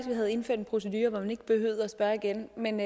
vi havde indført en procedure hvor man ikke behøvede at spørge igen men